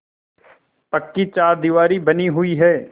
पक्की चारदीवारी बनी हुई है